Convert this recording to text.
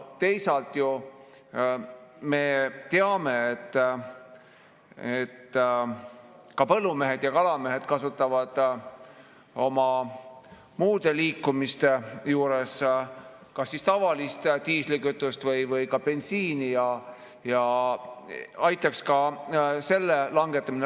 Teisalt me teame, et põllumehed ja kalamehed kasutavad oma muude liikumiste juures kas tavalist diislikütust või bensiini, ja aitaks ka selle langetamine.